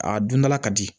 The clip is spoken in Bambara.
A dondala ka di